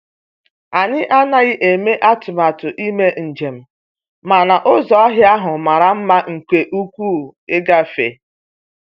Anyị anaghị eme atụmatụ ime njem, mana ụzọ ọhịa ahụ mara mma nke ukwuu ịgafe.